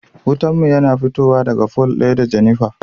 Wutan mu yana fitowa daga fol ɗaya da Jenifer.